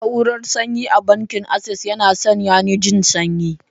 Na'urar sanyi a bankin Access yana sanyani jin sanyi.